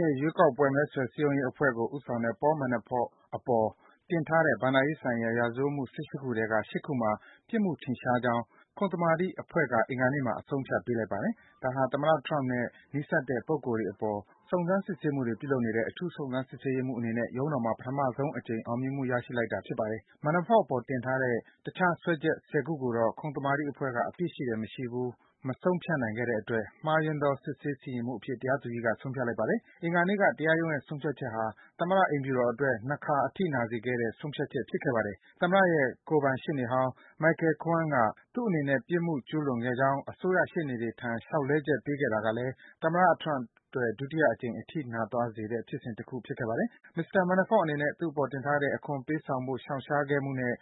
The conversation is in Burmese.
ရဲ့ ရွေးကောက်ပွဲ မဲဆွယ်စည်းရုံးရေးအဖွဲ့ကို ဦးဆောင်ခဲ့တဲ့ Paul Manafort အပေါ် တင်ထားတဲ့ ဘဏ္ဍာရေးဆိုင်ရာ ရာဇဝတ်မှု ၁၈ ခုထဲက ၈ ခုမှာ ပြစ်မှုထင်ရှားကြောင်း ခုံသမာဓိအဖွဲ့က အင်္ဂါနေ့မှာ အဆုံးအဖြတ် ပေးလိုက်ပါတယ်။ ဒါဟာ သမ္မတ Trump နဲ့ နီးစပ်တဲ့ လူပုဂ္ဂိုလ်တွေအပေါ် စုံစမ်း စစ်ဆေးမှုတွေ ပြုလုပ်နေတဲ့ အထူးစုံစမ်း စစ်ဆေးရေးမှူးအနေနဲ့ ရုံးတော်မှာ ပထမဆုံးအကြိမ် အောင်မြင်မှု ရရှိလိုက်တာပါ။ Manafort အပေါ် တင်ထားတဲ့ တခြား စွဲချက် ၁၀ ခုကိုတော့ ခုံသမာဓိအဖွဲ့က အပြစ်ရှိတယ်၊ မရှိဘူး မဆုံးဖြတ်နိုင်တာကြောင့်၊ မခိုင်လုံတဲ့အမှုအဖြစ် တရားသူကြီးက ဆုံးဖြတ်လိုက်ပါတယ်။ အင်္ဂါနေ့က တရားရုံးရဲ့ ဆုံးဖြတ်ချက်ဟာ သမ္မတ အိမ်ဖြူတော်အတွက် ၂ ခါ အထိနာစေတဲ့ ဆုံးဖြတ်ချက် ဖြစ်ခဲ့ပါတယ်။ သမ္မတရဲ့ ကိုယ်ပိုင်ရှေ့နေဟောင်း Michael Cohen က သူ့အနေနဲ့ ပြစ်မှု ကျူးလွန်ခဲ့ကြောင်း အစိုးရ ရှေ့နေတွေထံ လျှောက်လဲချက် ပေးခဲ့တဲ့တာကလည်း သမ္မတ Trump အတွက် ဒုတိယအကြိမ် အထိနာသွားစေတဲ့ ဖြစ်စဉ် တခုဖြစ်ပါတယ်။ မစ္စတာ Manafort အနေနဲ့ သူ့အပေါ် တင်ထားတဲ့ အခွန်ပေးဆောင်ဖို့ ရှောင်ရှားခဲ့မှုနဲ့